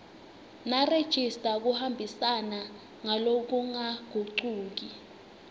nerejista kuhambisana ngalokungagucuki